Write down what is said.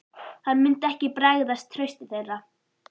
Hann myndi ekki bregðast trausti þeirra.